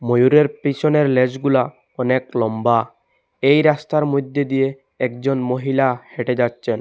ময়ূরের পিছনের ল্যাজগুলা অনেক লম্বা এই রাস্তার মইদ্যে দিয়ে একজন মহিলা হেঁটে যাচ্চেন।